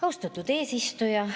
Austatud eesistuja!